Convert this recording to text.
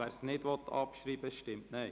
wer es nicht abschreiben will, stimmt Nein.